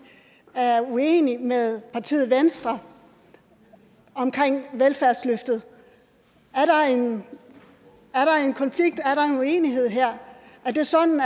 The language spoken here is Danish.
er uenig med partiet venstre omkring velfærdsløftet er der en konflikt er der en uenighed her er det sådan